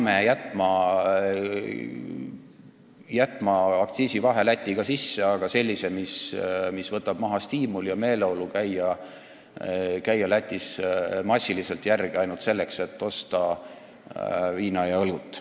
Me peame jätma aktsiisivahe Lätiga sisse, aga see peab olema selline, mis võtab maha stiimuli käia Lätis massiliselt ainult selleks, et osta viina ja õlut.